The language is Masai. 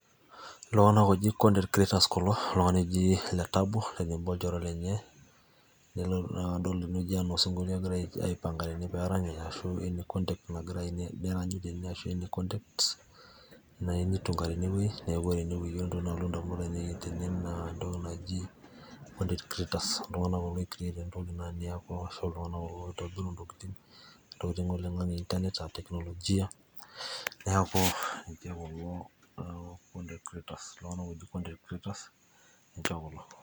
Iltunganak oji cs content creators cs kulo oltungani oji letabo olchore lenye nilotu naa adol tenewoji aa osingolio egira aipanga tene peeranyita arashu a cs content cs nagira aipeeranyi tene arashu a context nayieu nitunga teinewueji neaku content creators lolo.